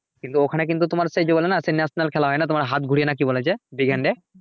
কিন্তু ওখানে কিন্তু তোমার সেই জি বলে না সেই national খেলা হয় না হাত ঘুরিয়ে না কি বলে যে big hand এ